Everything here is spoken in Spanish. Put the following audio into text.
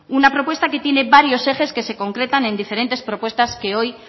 una propuesta que tiene varios ejes que se concretan en diferentes propuestas que hoy